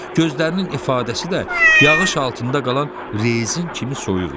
Gözlərinin ifadəsi də yağış altında qalan rezinin kimi soyuq idi.